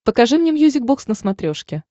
покажи мне мьюзик бокс на смотрешке